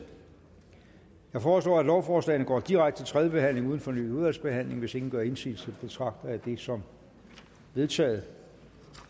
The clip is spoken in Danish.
jeg foreslår at lovforslagene går direkte til tredje behandling uden fornyet udvalgsbehandling hvis ingen gør indsigelse betragter jeg det som vedtaget